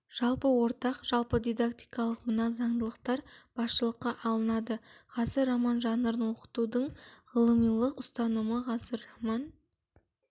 жалпы ортақ жалпы дидактикалық мына заңдылықтар басшылыққа алынады ғасыр роман жанрын оқытудың ғылымилық ұстанымы ғасыр роман